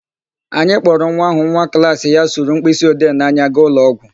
Anyị kpọrọ nwa áhụ̀ nwa klaasị ya sụrụ mkpịsịode n'anya gaa ụlọọgwụ.